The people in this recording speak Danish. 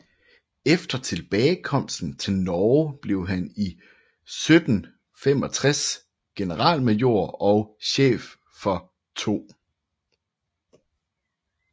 Efter tilbagekomsten til Norge blev han 1765 generalmajor og chef for 2